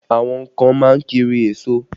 Àwọn kan má ń kiri èso